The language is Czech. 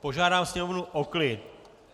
Požádám Sněmovnu o klid.